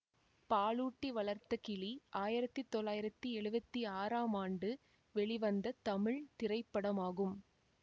பாலூட்டி வளர்த்தகிளி ஆயிரத்தி தொள்ளாயிரத்தி எழுவத்தி ஆறாம் ஆண்டு வெளிவந்த தமிழ் திரைப்படமாகும்